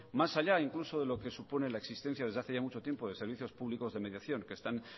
más allá incluso de lo que supone la existencia desde hace ya mucho tiempo de servicios públicos de mediación que están